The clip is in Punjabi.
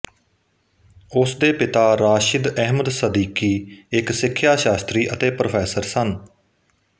ਉਸ ਦੇ ਪਿਤਾ ਰਾਸ਼ਿਦ ਅਹਿਮਦ ਸਦੀਕੀ ਇਕ ਸਿੱਖਿਆ ਸ਼ਾਸਤਰੀ ਅਤੇ ਪ੍ਰੋਫੈਸਰ ਸਨ